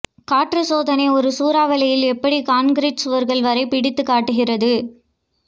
காற்று சோதனை ஒரு சூறாவளியில் எப்படி கான்கிரீட் சுவர்கள் வரை பிடித்து காட்டுகிறது